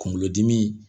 Kunkolodimi